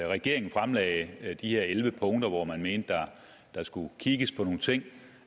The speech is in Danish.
regeringen fremlagde de her elleve punkter hvor man mente at der skulle kigges på nogle ting